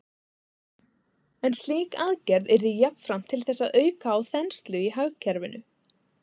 En slík aðgerð yrði jafnframt til þess að auka á þenslu í hagkerfinu.